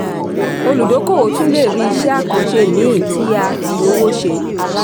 olùdókòwò tún le ri iṣẹ́-àkànṣe mìí tí a fi owó ṣe.